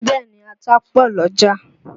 Bẹ́ẹ̀ni, ata pọ̀ l'ọ́jà